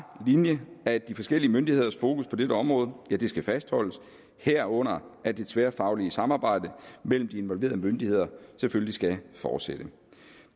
linje at de forskellige myndigheders fokus på dette område skal fastholdes herunder at det tværfaglige samarbejde mellem de involverede myndigheder selvfølgelig skal fortsætte